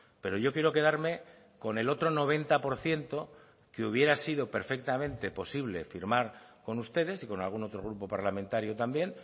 pero yo quiero quedarme con el otro noventa por ciento que hubiera sido perfectamente posible firmar con ustedes y con algún otro grupo parlamentario también